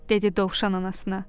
Dedi dovşan anasına.